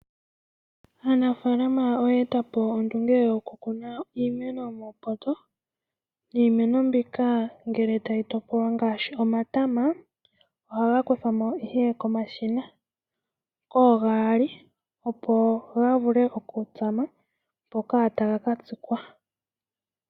Aanafaalama oya etapo ondunge yo kukuna iimeno muupoto, niimeno mbika ngele tayi topolwa ngaashi omatama, ohaga kuthwamo ihe komashina, ogaali, opo ga vule oku tsama, mpoka taga na tsikwa.